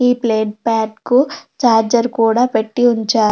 ఈ plate back కు charger కూడా పెట్టి ఉంచారు.